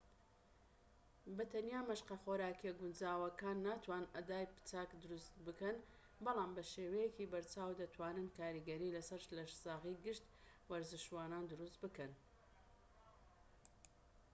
بە تەنیا مەشقە خۆراکییە گونجاوەکان ناتوانن ئەدای چاک دروست بکەن بەڵام بە شێوەیەکی بەرچاو دەتوانن کاریگەری لەسەر لەشساغی گشت وەرزشوانان دروست بکەن